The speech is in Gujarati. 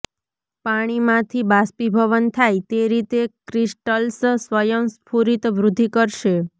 પાણીમાંથી બાષ્પીભવન થાય તે રીતે ક્રિસ્ટલ્સ સ્વયંસ્ફુરિત વૃદ્ધિ કરશે